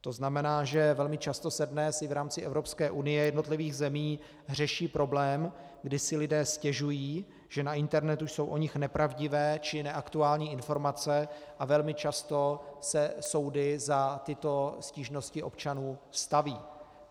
To znamená, že velmi často se dnes i v rámci Evropské unie, jednotlivých zemí řeší problém, kdy si lidé stěžují, že na internetu jsou o nich nepravdivé či neaktuální informace, a velmi často se soudy za tyto stížnosti občanů staví.